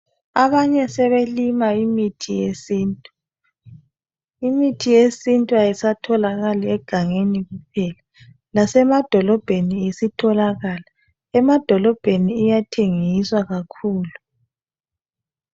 Abanye sebelima imithi yesintu, imithi yesintu ayisatholakali egangeni kuphela. Lasemadolobheni isitholakala, emadolobheni iyathengiswa kakhulu.